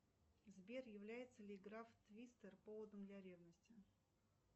сбер является ли игра в твистер поводом для ревности